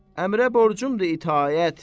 Əmrə borcumdur itaət.